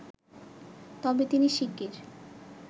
তবে তিনি শিগগির